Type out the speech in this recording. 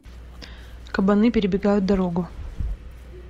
кабаны перебегают дорогу